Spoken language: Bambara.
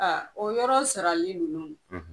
Aa o yɔrɔ sarali ninnu